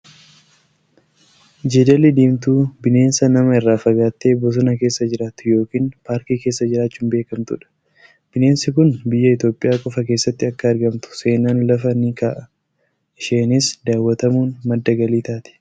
Jeedalli diimtuu bineensa nama irraa fagaattee bosona keessa jiraattu yookiin paarkii keessa jiraachuun beekamtudha. Bineensi kun biyya Itoophiyaa qofaa keessatti akka argamtu seenaan lafa ni kaa'a. Isheenis daawwatamuun madda galii taati.